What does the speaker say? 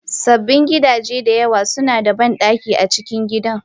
Sabbin gidaje da yawa suna da bandaki a cikin gidan.